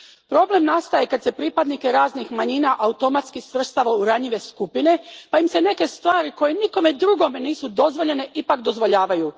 Problem nastaje kad se pripadnike raznih manjina automatski svrstava u ranjive skupine pa im se neke stvari, koje nikome drugome nisu dozvoljene, ipak dozvoljavaju.